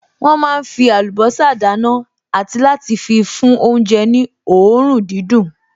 Wọ́n máa fí àlùbọ́sà dáná àti láti fi fún oúnjẹ ní òórùn dídùn